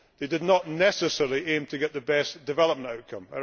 They did not necessarily aim to get the best development outcome.